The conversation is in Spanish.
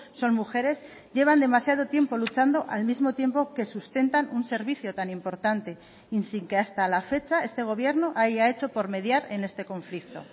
son mujeres llevan demasiado tiempo luchando al mismo tiempo que sustentan un servicio tan importante y sin que hasta la fecha este gobierno haya hecho por mediar en este conflicto